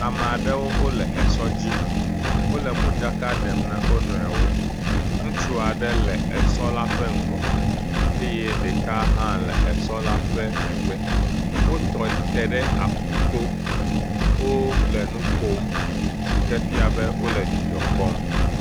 ameaɖewó wóle esɔ dzi, wóle modzaka ɖem ne wónoewó, ŋutsuaɖe le esɔla ƒe ŋgɔ eyɛ ɖeka hã le esɔ la ƒe megbe, wotrɔte ɖe aƒuto, wó le nukom sike fia be wóle dzidzɔ kpɔm